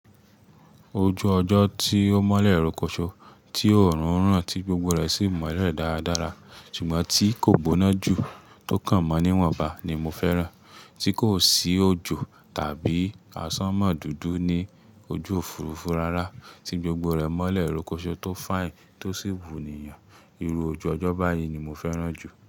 Ojú ọjọ́ tí ó mọ́lẹ̀ rókóṣó, tí óorùn ran tí gbogbo rẹ̀ sì mọ́lẹ̀ dáradára ṣùgbọ́n tí kò gbóná jù, tó kàn mọ́ níwọ̀nba ni mo fẹ́ràn. Tí kò sí òjò tàbí à sánmọ́ dúdú ní ojú òfurufú rárá, tí gbogbo rẹ̀ mọ́lẹ̀ rókóṣó tó fine tó sì wùníyàn. Irú ojú ọjọ́ báyìí ni mo fẹ́ràn jù.